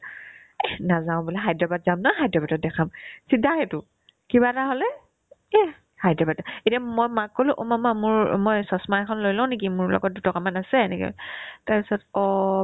এহ্ নাজাও বোলে হায়দৰাবাদ যাম ন হায়দৰাবাদত দেখাম চিধাই সেইটো কিবা এটা হ'লে এহ্ হায়দৰাবাদে এতিয়া মই মাক ক'লো অ' মামা মোৰ মই চচমা এখন লৈ লও নেকি মোৰ লগত দুটকামান আছে এনেকে তাৰপিছত অ